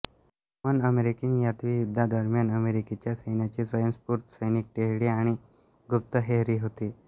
Tubman American यादवी युद्धादरम्यान अमेरिकेच्या सैन्याची स्वंयस्फूर्त सैनिक टेहळी आणि गुप्तहेरही होती